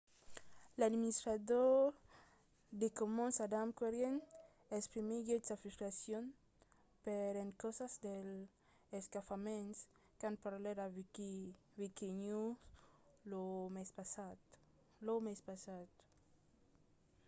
l'administrador de commons adam cuerden exprimiguèt sa frustracion per encausa dels escafaments quand parlèt a wikinews lo mes passat